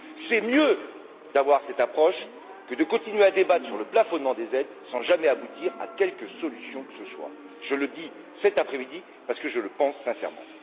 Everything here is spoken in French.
C'est mieux d'avoir cette approche que de continuer à débattre sur le plafonnement des aides sans jamais aboutir à quelque solution que ce soit. Je le dis cet après midi parce que je le pense sincèrement.